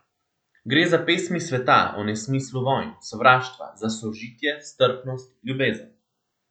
Gre za pesmi sveta o nesmislu vojn, sovraštva, za sožitje, strpnost, ljubezen.